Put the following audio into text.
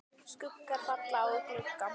Skuggar falla á glugga.